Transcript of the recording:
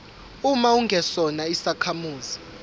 uma ungesona isakhamuzi